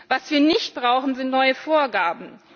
Was wir nicht brauchen, sind neue Vorgaben.